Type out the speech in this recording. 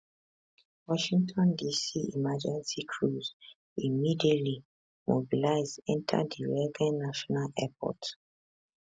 washington dc emergency crews immediately mobilize enta di reagan national airport